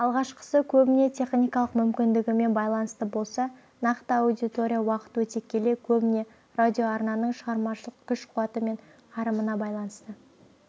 алғашқысы көбіне техникалық мүмкіндігімен байланысты болса нақты аудитория уақыт өте келе көбіне радиоарнаның шығармашылық күш-қуаты мен қарымына байланысты